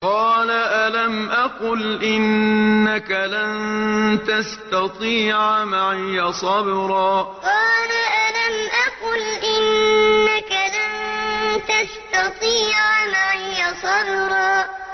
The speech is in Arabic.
قَالَ أَلَمْ أَقُلْ إِنَّكَ لَن تَسْتَطِيعَ مَعِيَ صَبْرًا قَالَ أَلَمْ أَقُلْ إِنَّكَ لَن تَسْتَطِيعَ مَعِيَ صَبْرًا